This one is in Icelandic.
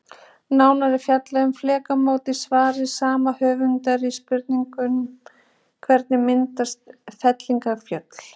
Nánar er fjallað um flekamót í svari sama höfundar við spurningunni Hvernig myndast fellingafjöll?